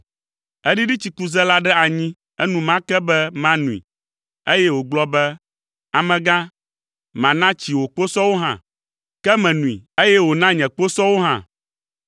“Eɖiɖi tsikuze la ɖe anyi enumake be manoe, eye wògblɔ be. ‘Amegã, mana tsi wò kposɔwo hã!’ Ke menoe, eye wòna nye kposɔwo hã.